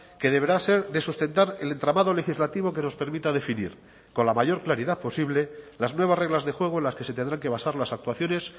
que deberá ser de sustentar el entramado legislativo que nos permita definir con la mayor claridad posible las nuevas reglas de juego en las que se tendrán que basar las actuaciones